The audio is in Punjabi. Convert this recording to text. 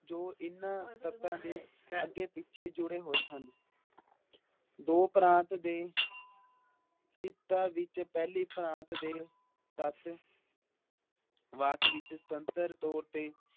ਜੋ ਇਹਨਾਂ ਤੱਤਾਂ ਦੇ ਅਗੈ ਪਿਛੇ ਜੁੜੇ ਹੋਏ ਹਨ । ਦੋ ਪ੍ਰਾਂਤ ਦੇ ਪਿੱਤਾ ਵਿੱਚ ਪਹਿਲੀ ਪ੍ਰਾਂਤ ਦੇ ਤੱਤ ਵਾਕ ਵਿੱਚ ਤੰਤਰ ਤੋਰ ਤੇ